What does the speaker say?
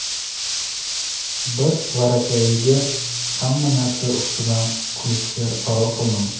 bir varakayiga hamma narsa ustidan kulishga qaror qildim.